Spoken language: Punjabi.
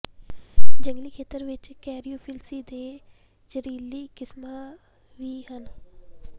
ਜੰਗਲੀ ਖੇਤਰ ਵਿਚ ਕੈਰੀਓਫਿਲਸੀਏ ਦੇ ਜ਼ਹਿਰੀਲੇ ਕਿਸਮਾਂ ਵੀ ਹਨ